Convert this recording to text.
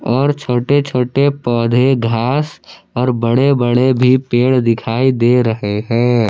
और छोटे छोटे पौधे घास और बड़े बड़े भी पेड़ दिखाई दे रहे हैं।